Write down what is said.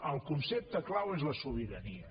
el concepte clau és la sobirania